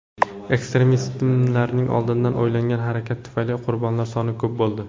Ekstremistlarning oldindan o‘ylangan harakati tufayli qurbonlar soni ko‘p bo‘ldi.